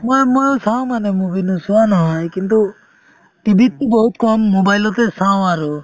মই~ মই চাওঁ মানে movie নোচোৱা নহয় কিন্তু TV তো বহুত কম mobile তে চাওঁ আৰু